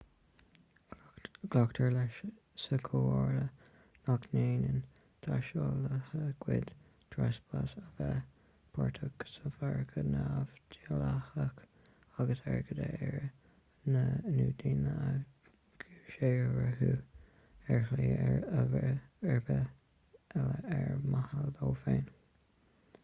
glactar leis sa chomhairle nach ndéanann taistealaithe goid treaspás a bheith páirteach sa mhargadh neamhdhleathach airgead a iarraidh nó daoine a dhúshaothrú ar shlí ar bith eile ar mhaithe leo féin